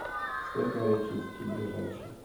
светлореченский ближайший